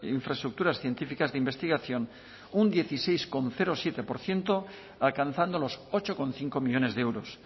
infraestructuras científicas de investigación un dieciséis coma siete por ciento alcanzando los ocho coma cinco millónes de euros